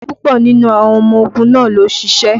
Púpọ̀ nínú àwọn ọmọ ogun náà lò ṣìṣe